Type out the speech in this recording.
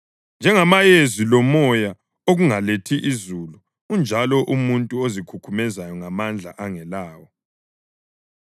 Njengamayezi lomoya okungalethi izulu unjalo umuntu ozikhukhumeza ngamandla angelawo.